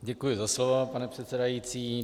Děkuji za slovo, pane předsedající.